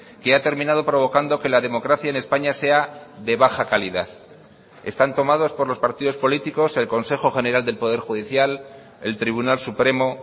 que ha terminado provocando que la democracia en españa sea de baja calidad están tomados por los partidos políticos el consejo general del poder judicial el tribunal supremo